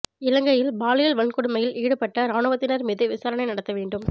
இலங்கையில் பாலியல் வன்கொடுமையில் ஈடுபட்ட இராணுவத்தினர் மீது விசாரணை நடத்த வேண்டும்